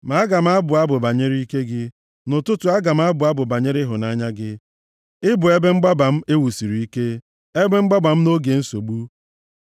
Ma aga m abụ abụ banyere ike gị, nʼụtụtụ aga m abụ abụ banyere ịhụnanya gị; ị bụ ebe mgbaba m e wusiri ike, ebe mgbaba m nʼoge nsogbu.